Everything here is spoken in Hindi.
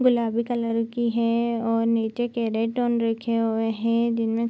गुलाबी कलर की है और नीचे केरोटोन रखे हुए है जिनमे --